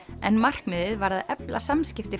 en markmiðið var að efla samskipti